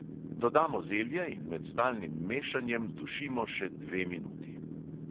Dodamo zelje in med stalnim mešanjem dušimo še dve minuti.